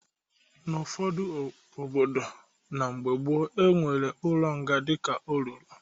N'ụfọdụ obodo na mgbe gboo, e nwere ụlọ nga dịka olulu.